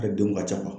A denw ka ca